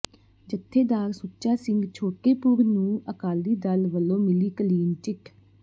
ਜੱਥੇਦਾਰ ਸੁੱੱਚਾ ਸਿੰਘ ਛੋਟੇਪੁਰ ਨੂੰ ਆਕਾਲੀ ਦਲ ਵੱੱਲੋਂ ਮਿਲੀ ਕਲੀਨ ਚਿੱਟ